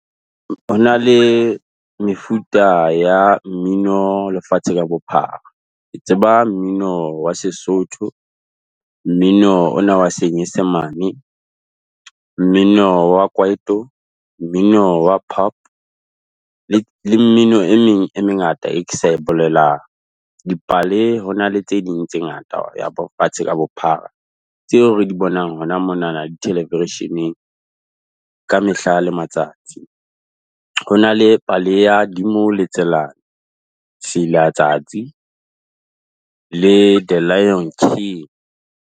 Hona le mefuta ya mmino lefatshe ka bophara, ke tseba mmino wa Sesotho, mmino ona wa senyesemane, mmino wa kwaito, mmino wa pop, le mmino e meng e mengata e ke sa e bolelang. Dipale hona le tse ding tse ngata lefatshe ka bophara, tseo re di bonang hona mo na na di television-eng, ka mehla le matsatsi. Ho na le pale ya Dimo le Tselane, Se ila tsatsi, le The Lion King.